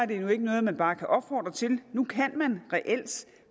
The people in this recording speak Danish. det nu ikke noget man bare kan opfordre til nu kan man reelt